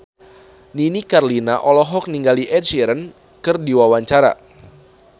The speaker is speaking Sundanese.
Nini Carlina olohok ningali Ed Sheeran keur diwawancara